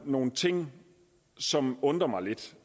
nogle ting som undrer mig lidt